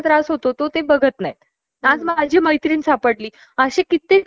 ज्यात , कोणी त्यांचे कानात , ऐकण्याची ऍबिलिटी लॉस झाली असेल